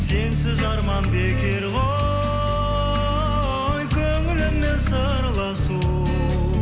сенсіз арман бекер ғой көңіліңмен сырласу